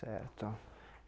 Certo.